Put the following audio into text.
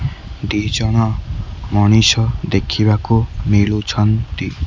ଦି ଜଣ ମଣିଷ ଦେଖିବାକୁ ମିଳୁଛନ୍ତି।